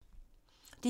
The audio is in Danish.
DR1